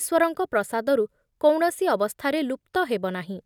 ଈଶ୍ଵରଙ୍କ ପ୍ରସାଦରୁ କୌଣସି ଅବସ୍ଥାରେ ଲୁପ୍ତ ହେବନାହିଁ ।